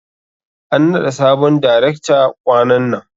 An naɗa sabon darekta ƙwanan nan.